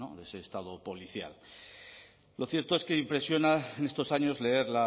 de ese estado policial lo cierto es que impresiona en estos años leer